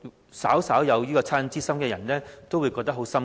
我相信，稍有惻隱之心的人都會感到很"心噏"。